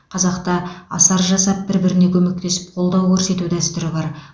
қазақта асар жасап бір біріне көмектесіп қолдау көрсету дәстүрі бар